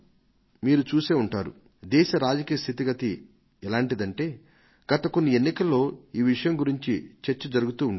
మీరు చూసే ఉంటారు దేశ రాజకీయ స్థితిగతులు ఎలాంటివంటే గత కొన్ని ఎన్నికల్లో ఈ విషయం గురించి చర్చ జరుగుతూ ఉండేది